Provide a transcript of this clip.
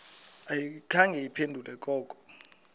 ayikhange iphendule koko